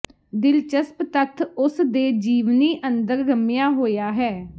ਦਿਲਚਸਪ ਤੱਥ ਉਸ ਦੇ ਜੀਵਨੀ ਅੰਦਰ ਰਮਿਆ ਹੋਇਆ ਹੈ